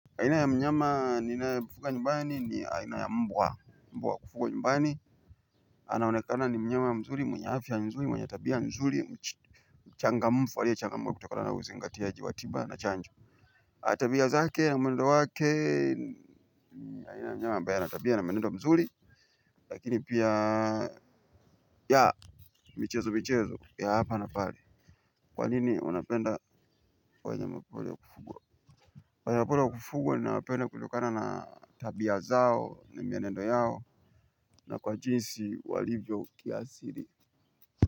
Aina ya mnyama nina ye mfuga nyumbani ni mbwa mbwa wakufugwa nyumbani. Anaonekana ni mnyama ya mzuri mwenye afya nzuri mwenye tabia ya nzuri. Changa mfu aliye changa mka kutokana na usi ngatia jiwatiba na chanjo tabia zake na mwendo wake. Aina ya mnyama ambaye ana tabia na menendo mzuri. Lakini pia ya michezo michezo ya hapa na pale. Kwa nini unapenda wanyama pori wa kufugwa, wanyama pori wa kufugwa ninawapenda kutokana na tabia zao na mienendo yao. Na kwa jinsi walivyo kiasiri.